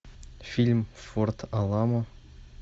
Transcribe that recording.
фильм форт аламо